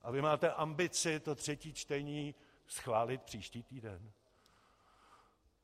A vy máte ambici to třetí čtení schválit příští týden.